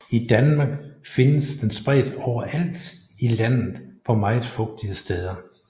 I Danmark findes den spredt overalt i landet på meget fugtige steder